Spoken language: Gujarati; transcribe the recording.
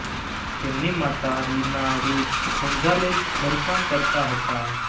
તેમની માતા લીના રુઝ ગોન્ઝાલેઝ ઘરકામ કરતા હતા